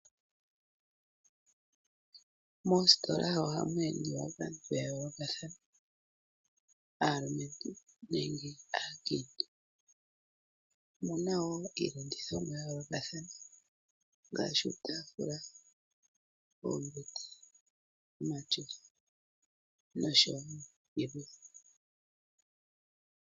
Moostola oha mu endiwa kaantu ya yoolokathana, aalumentu nenge aakiintu. Omuna wo iilandithomwa ya yoolokathana ngaashi iitafula, oombete, omatyofa no sho wo yilwe.